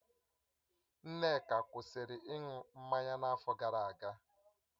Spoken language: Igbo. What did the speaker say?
Nneka kwụsịrị ịṅụ mmanya n'afọ gara aga